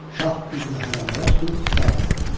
Şah üzünü hərəmlərə tutub xitab elədi.